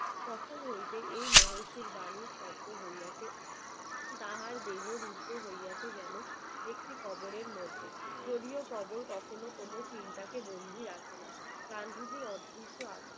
তাহার দেহ রুদ্ধ হইয়াছে যেন একটি কবরের মধ্যে যদিও খবর কখনো কোন চিন্তাকে বন্দী রাখে না গান্ধীজি অদৃশ্য